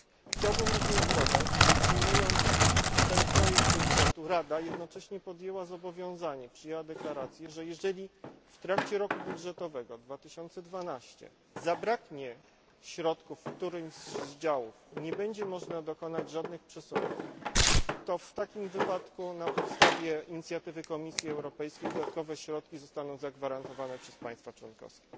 Chciałbym również dodać, że przyjmując ten projekt budżetu Rada jednocześnie podjęła zobowiązanie, przyjęła deklarację, że jeżeli w trakcie roku budżetowego 2012 zabraknie środków w którymś z działów i nie będzie można dokonać żadnych przesunięć, to w takim wypadku na podstawie inicjatywy Komisji Europejskiej dodatkowe środki zostaną zagwarantowane przez państwa członkowskie.